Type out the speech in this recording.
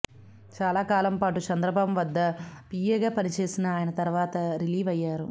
చాలా కాలం పాటు చంద్రబాబు వద్ద పీఏగా పని చేసినఆయన తర్వాత రిలీవ్ అయ్యారు